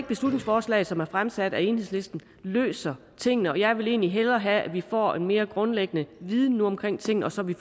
beslutningsforslaget som er fremsat af enhedslisten løser tingene og jeg vil egentlig hellere have at vi nu får en mere grundlæggende viden omkring tingene så vi